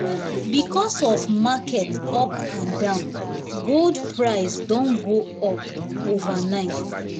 because of market up and down gold price don go up overnight.